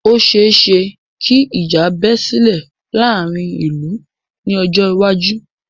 Ò ṣeẹ́ṣẹ kí ìjà bẹ́ sílè láàárín ìlú ní ọjọ́ iwájú.